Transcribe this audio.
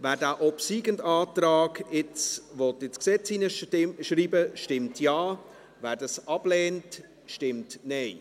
Wer den obsiegenden Antrag nun ins Gesetz hineinschreiben möchte, stimmt Ja, wer dies ablehnt, stimmt Nein.